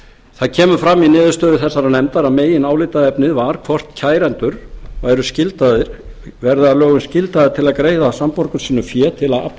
það kemur fram í niðurstöðu þessarar nefndar að meginálitaefnið var hvort kærendur verði að lögum skyldaðir til að greiða samborgurum sínum fé til að afla